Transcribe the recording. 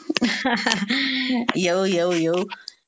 ter येऊ, येऊ, येऊ.